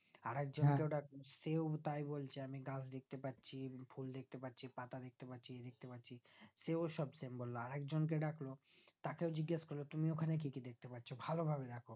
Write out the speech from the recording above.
আর একজন কে সেও তাই বলছে আমি গাছ পাচ্ছি ফুল দেখতে পাচ্ছি পাতা দেখতে ই পাচ্ছি সেও সব same বললো আর একজন কে ডাকলো তাকেও জিগেস করলো বললো তুমি দোকানে কি কি দেখতে পপাচ্ছ ভালো ভাবে দেখো